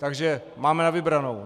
Takže máme na vybranou.